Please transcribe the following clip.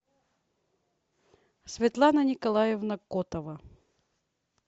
светлана николаевна котова